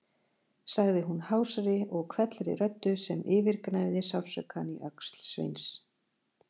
sagði hún hásri og hvellri röddu sem yfirgnæfði sársaukann í öxl Sveins.